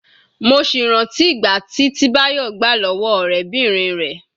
Mo sì rántí ìgbàtí tí Bayo gbà lọ́wọ́ ọ̀rẹ́bìnrin rẹ̀.